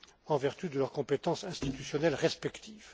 en vertu de leurs compétences institutionnelles respectives.